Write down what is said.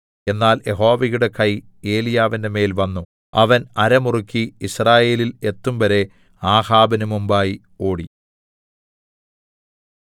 എന്നാൽ യഹോവയുടെ കൈ ഏലീയാവിന്മേൽ വന്നു അവൻ അര മുറുക്കി യിസ്രായേലിൽ എത്തുംവരെ ആഹാബിന് മുമ്പായി ഓടി